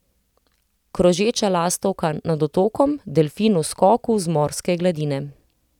Krožeča lastovka nad otokom, delfin v skoku z morske gladine.